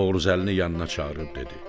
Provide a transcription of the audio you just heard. Novruzəlini yanına çağırıb dedi.